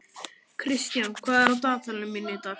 Kristian, hvað er í dagatalinu í dag?